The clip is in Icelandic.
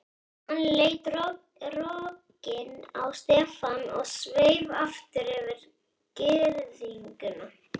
Hann leit rogginn á Stefán og sveif aftur yfir girðinguna.